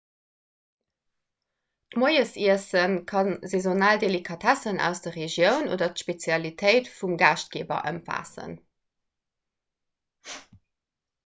d'moiesiesse ka saisonal delikatessen aus der regioun oder d'spezialitéit vum gaaschtgeeber ëmfaassen